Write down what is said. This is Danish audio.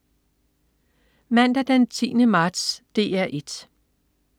Mandag den 10. marts - DR 1: